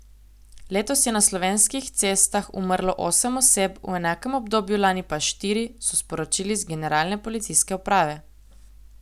Letos je na slovenskih cestah umrlo osem oseb, v enakem obdobju lani pa štiri, so sporočili z Generalne policijske uprave.